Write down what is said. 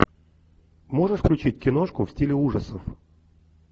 можешь включить киношку в стиле ужасов